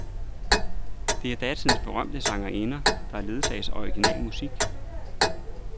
Der er datidens berømte sangerinder, der ledsages af original musik.